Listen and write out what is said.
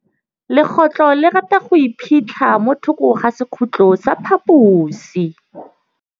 Legôtlô le rata go iphitlha mo thokô ga sekhutlo sa phaposi.